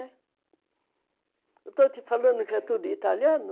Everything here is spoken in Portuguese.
Eu estou te falando que é tudo italiano?